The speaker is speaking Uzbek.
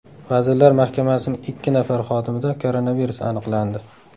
Vazirlar Mahkamasining ikki nafar xodimida koronavirus aniqlandi.